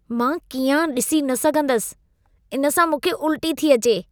मां कीआं ॾिसी न सघंदसि; इन सां मूंखे उल्टी थी अचे।